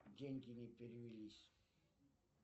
деньги не перевелись